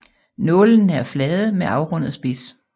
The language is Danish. Nålene er flade med afrundet spids